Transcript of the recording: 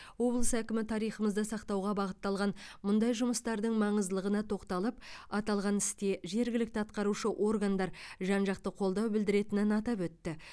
облыс әкімі тарихымызды сақтауға бағытталған мұндай жұмыстардың маңыздылығына тоқталып аталған істе жергілікті атқарушы органдар жан жақты қолдау білдіретінін атап өтті